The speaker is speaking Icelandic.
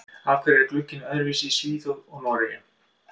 Af hverju er glugginn öðruvísi í Svíþjóð og Noregi?